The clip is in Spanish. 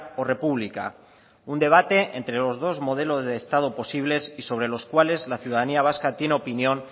o república un debate entre los dos modelos de estado posibles y sobre los cuales la ciudadanía vasca tiene opinión